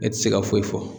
E ti se ka foyi fɔ